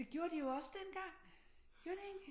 Det gjorde de jo også dengang gjorde de ikke